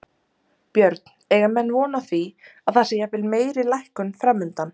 Björn, eiga menn von á því að það sé jafnvel meiri lækkun framundan?